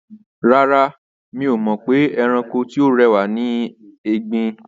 Rárá, mi ò mọ̀ pé ẹranko tí ó rẹwà ni ẹgbin.